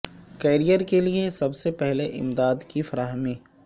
career کے لئے سب سے پہلے امداد کی فراہمی